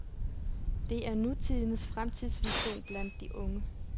Det er nutidens fremtidsvision blandt de unge.